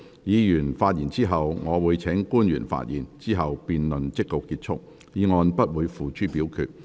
議員發言後，我會請官員發言，之後辯論即告結束，議案不會付諸表決。